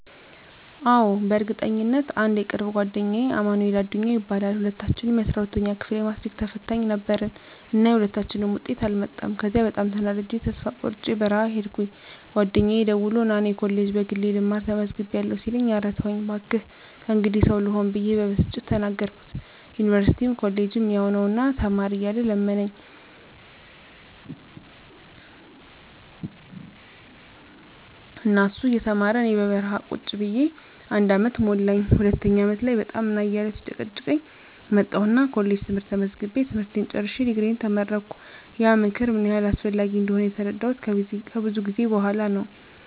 አዎ፣ በእርግጠኝነት! *አንድ የቅርብ ጓደኛዬ አማንኤል አዱኛ ይባላል፦ *ሁለታችንም የ12ኛ ክፍል የማትሪክ ተፈታኝ ነበርን እና የሁለታችንም ውጤት አልመጣም ከዚያ በጣም ተናድጀ ተስፋ ቆርጨ በረሀ ሂድኩኝ ጓደኛየ ደውሎ ና እኔ ኮሌጅ በግሌ ልማር ተመዝግቢያለሁ ሲለኝ እረ ተወኝ ባክህ ከእንግዲህ ሰው ልሆን ብየ በብስጭት ተናገርኩት ዩኒቨርስቲም ኮሌጅም ያው ነው ና ተማር እያለ ለመነኝ እና እሱ እየተማረ እኔ በረሀ ቁጭ ብየ አንድ አመት ሞላኝ ሁለተኛው አመት ላይ በጣም ና እያለ ሲጨቀጭቀኝ መጣሁና ኮሌጅ ትምህርት ተመዝግቤ ትምህርቴን ጨርሸ ድግሪየን ተመረቀሁ። *ያ ምክር ምን ያህል አስፈላጊ እንደሆነ የተረዳሁት ከብዙ ጊዜ በኋላ ነው።